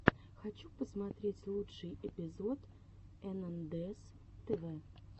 хочу посмотреть лучший эпизод энандэс тв